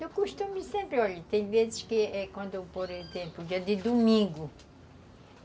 Eu costumo sempre, olha, tem vezes que é quando, por exemplo, dia de domingo.